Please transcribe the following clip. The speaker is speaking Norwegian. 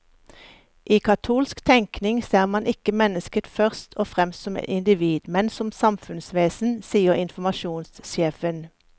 I katolsk tenkning ser man ikke mennesket først og fremst som individ, men som samfunnsvesen, sier informasjonssjefen.